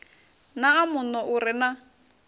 naa muno u re na